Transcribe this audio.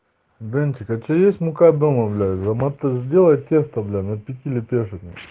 денчик а у тебя есть мука дома блять замата сделать тесто бя на пяти лепёшек бля